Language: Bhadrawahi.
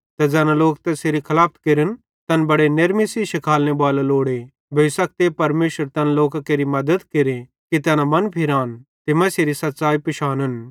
ते ज़ैना लोक तैसेरी खलाफत केरन तैन बड़े नेरमी सेइं शिखालेनेबालो लोड़े भोई सकते परमेशर तैन लोकां केरि मद्दत केरे कि तैना मनफिरान ते मसीहेरी सच़्च़ाई पिशानन